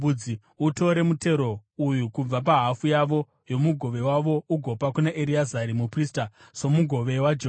Utore mutero uyu kubva pahafu yavo yomugove wavo ugopa kuna Ereazari muprista somugove waJehovha.